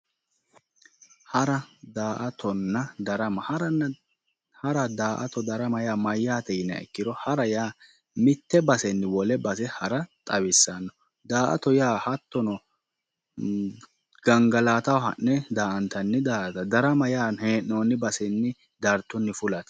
Hara daa'atonna darama hara daa'ato darama yaa mayaate yiniya ikiro hara yaa mite basenni wole base hara xawissanno daa'ato yaa hattono gangalataho ha'ne daa'antanni daa'atooti darama yaa hee'nooni basenni dartunni fulate